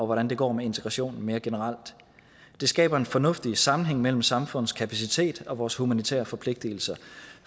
hvordan det går med integrationen mere generelt det skaber en fornuftig sammenhæng mellem samfundets kapacitet og vores humanitære forpligtelser